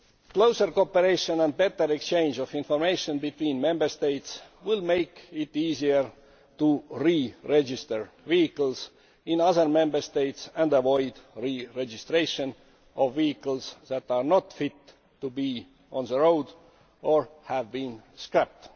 Closer cooperation and a better exchange of information between Member States will make it easier to re register vehicles in other Member States and avoid the re registration of vehicles that are not fit to be on the road or have been scrapped.